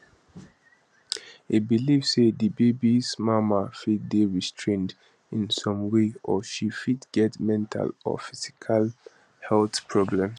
e believe say di babies mama fit dey restrained in some way or she fit get mental or physical health problems